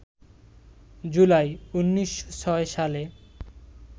জুলাই, ১৯০৬ সালে